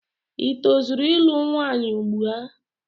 i tozuru ịlụ nwanyị ugbua?